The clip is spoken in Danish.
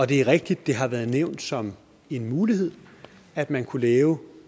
det er rigtigt at det har været nævnt som en mulighed at man kunne lave